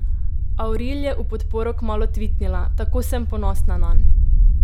Avril je v podporo kmalu tvitnila: "Tako sem ponosna nanj.